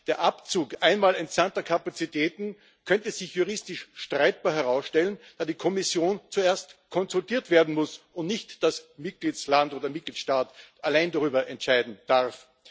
Der Abzug einmal entsandter Kapazitäten könnte sich als juristisch streitbar herausstellen, da die Kommission zuerst konsultiert werden muss und nicht der Mitgliedstaat allein darüber entscheiden darf.